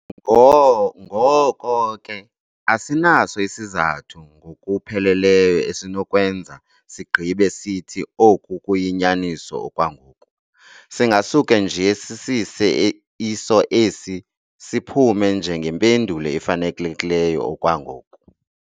Ngoko ke, asinaso isizathu ngokuphelelyo esinokwenza sigqibe sithi oku kuyinyaniso okwangoku, singasuke nje sisise iso esi siphume njengempendulo efanelekileyo okwangoku.